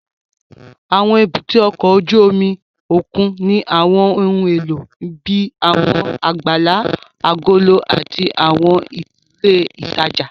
Àwọn èbúté ọkọ̀ ojú omi òkun ní àwọn ohun èlò bíi àwọn àgbàlá agolo àti àwọn ilé ìtajà